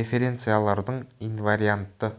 референциялардың инвариантты